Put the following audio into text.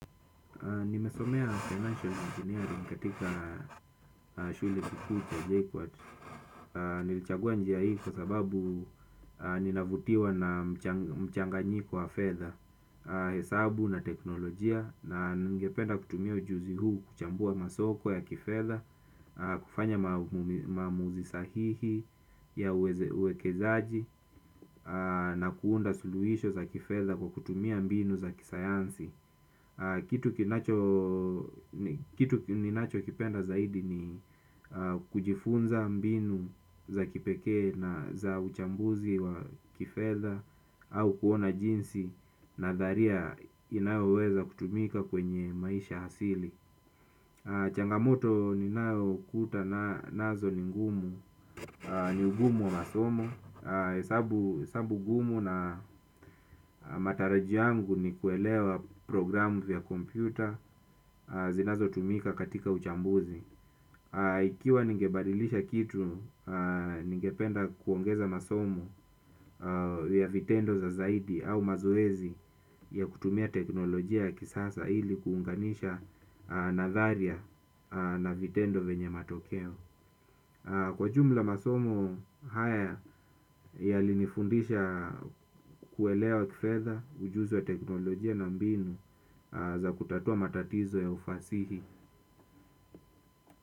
Nimesomea financial engineering katika shule kikuku cha JKUAT. Nilichagua njia hii kwa sababu ninavutiwa na mchanganyiko wa fedha. Hesabu na teknolojia na nigependa kutumia ujuzi huu kuchambua masoko ya kifedha. Kufanya maamuzi sahihi ya uwekezaji. Na kuunda suluhisho za kifedha kwa kutumia mbinu za kisayansi. Kitu ninachokipenda zaidi ni kujifunza mbinu za kipekee na za uchambuzi wa kifedha au kuona jinsi nadharia inaoweweza kutumika kwenye maisha hasili. Changamoto ninayokutana nazo ni ngumu, ni ugumu wa masomo hesabu gumu na matarajio yangu ni kuelewa programu vya kompyuta zinazotumika katika uchambuzi. Ikiwa ningebadilisha kitu, ningependa kuongeza masomo ya vitendo za zaidi au mazoezi ya kutumia teknolojia ya kisasa ili kuunganisha nadharia na vitendo venye matokeo. Kwa jumla masomo haya yalinifundisha kuelewa kifedha ujuzi wa teknolojia na mbinu za kutatua matatizo ya ufasihi.